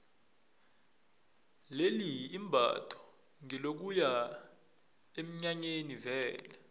leli imbatho ngelokuya eminyanyeni vele